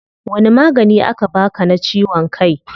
Wani magani aka baa ka na ciwon kai?